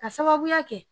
Ka sababuya kɛ